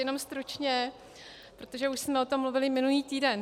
Jenom stručně, protože už jsme o tom mluvili minulý týden.